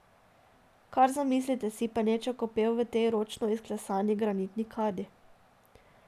Kar zamislite si penečo kopel v tej ročno izklesani granitni kadi ...